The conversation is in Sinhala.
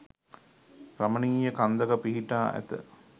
රමණීය කන්දක පිහිටා ඇත.